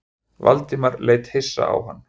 Valdimar leit hissa á hann.